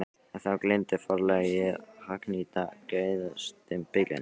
En þá gleymdi forlagið að hagnýta gæðastimpilinn!